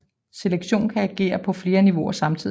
Selektion kan agere på flere niveauer samtidigt